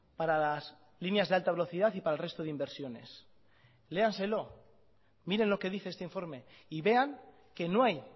para las líneas de alta velocidad y para el resto de inversiones léanselo miren lo que dice este informe y vean que no hay